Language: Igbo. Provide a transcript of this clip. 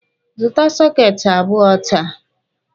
Zụta sọketi abụọ taa!